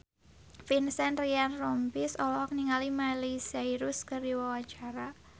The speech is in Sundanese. Vincent Ryan Rompies olohok ningali Miley Cyrus keur diwawancara